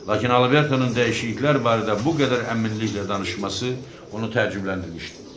Lakin Albertonun dəyişikliklər barədə bu qədər əminliklə danışması onu təəccübləndirmişdi.